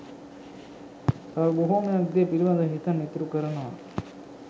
තව බොහොමයක් දේ පිලිබඳව හිතන්න ඉතුරු කරනවා.